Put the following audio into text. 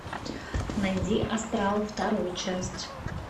найди астрал вторую часть